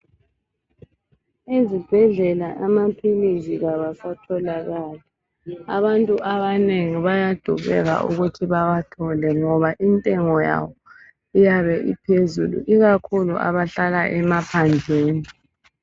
Ezibhendlela amaphilisi kawasatholakali abantu abanengi bayadubeka ukuthi bewathole ngoba intengo yawo iyabe iphezulu ikakhulu abahlala emaphandleni